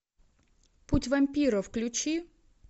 путь вампира включи